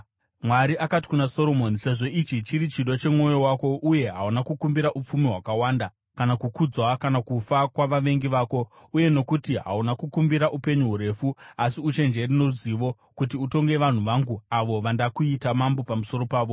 Mwari akati kuna Soromoni, “Sezvo ichi chiri chido chemwoyo wako uye hauna kukumbira upfumi hwakawanda kana kukudzwa, kana kufa kwavavengi vako, uye nokuti hauna kukumbira upenyu hurefu asi uchenjeri noruzivo kuti utonge vanhu vangu avo vandakuita mambo pamusoro pavo,